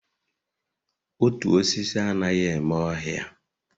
Otu osisi anaghị eme ọhịa